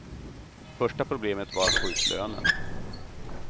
Första problemet var att få ut lönen.